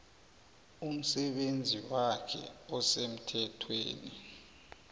umsebenzi wakhe osemthethweni